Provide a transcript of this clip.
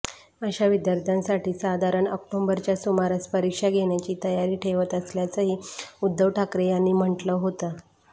अशा विद्यार्थ्यांसाठी साधारण ऑक्टोबरच्या सुमारास परीक्षा घेण्याची तयारी ठेवत असल्याचंही उद्धव ठाकरे यांनी म्हटलं होतं